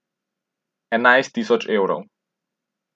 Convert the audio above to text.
Enajst tisoč evrov.